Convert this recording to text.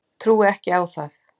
Trúi ekki á það.